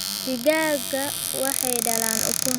Digaagga waxay dhalaan ukun